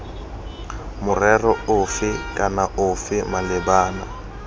morero ofe kana ofe malebana